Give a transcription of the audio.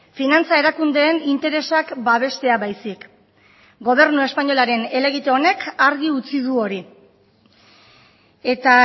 finantza erakundeen interesak babestea baizik gobernu espainolaren helegite honek argi utzi du hori eta